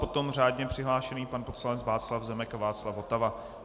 Potom řádně přihlášený pan poslanec Václav Zemek a Václav Votava.